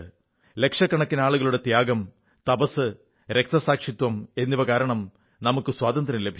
ലക്ഷക്കണക്കിന് ആളുകളുടെ ത്യാഗം തപസ്സ് രക്തസാക്ഷിത്വം എന്നിവ കാരണം സ്വാതന്ത്ര്യം ലഭിച്ചു